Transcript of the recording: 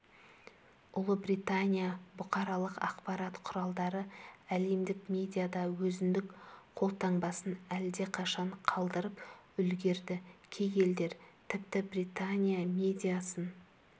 ұлыбритания бұқаралық ақпарат құралдары әлемдік медиада өзіндік қолтаңбасын әлдеқашан қалдырып үлгерді кей елдер тіпті британия медиасын